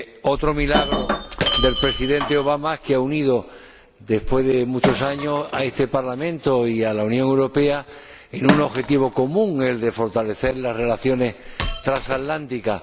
otro milagro del Presidente Obama, que ha unido, después de muchos años, a este Parlamento y a la Unión Europea, en un objetivo común, el de fortalecer las relaciones transatlánticas.